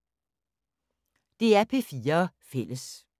DR P4 Fælles